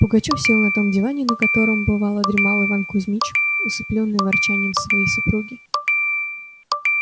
пугачёв сел на том диване на котором бывало дремал иван кузмич усыплённый ворчанием своей супруги